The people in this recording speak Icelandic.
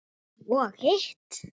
Og hitt?